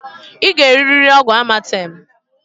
I g'eririri ọgwụ amatemǃ